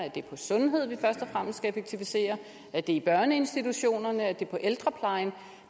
er det på sundhed vi først og fremmest skal effektivisere er det i børneinstitutionerne er det på ældreplejen